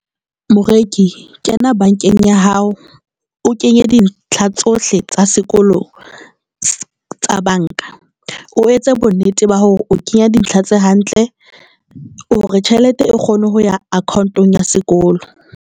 Moreki kena bankeng ya hao, o kenye dintlha tsohle tsa sekolo tsa banka o etse bonnete ba hore o kenya dintlha tse hantle hore tjhelete e kgone ho ya account-ong ya sekolo.